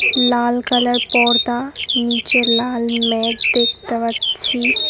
লাল colour পর্দা নীচে লাল ম্যাট দেখতে পাচ্ছি।